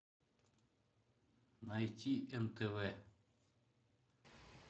найти нтв